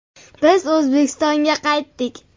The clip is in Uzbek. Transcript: Biz O‘zbekistonga qaytdik.